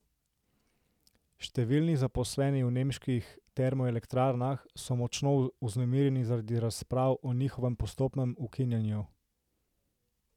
Številni zaposleni v nemških termoelektrarnah so močno vznemirjeni zaradi razprav o njihovem postopnem ukinjanju.